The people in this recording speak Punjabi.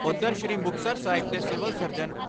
ਉਧਰ ਸ੍ਰੀ ਮੁਕਤਸਰ ਸਾਹਿਬ ਦੇ ਸਿਵਲ ਸਰਜਨ ਡਾ.